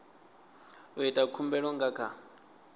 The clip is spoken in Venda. u ita khumbelo nga kha